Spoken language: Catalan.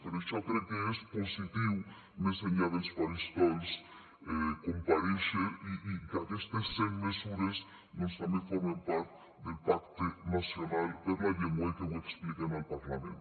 per això crec que és positiu més enllà dels faristols comparèixer i que aquestes cent mesures també formen part del pacte nacional per la llengua i que ho expliquen al parlament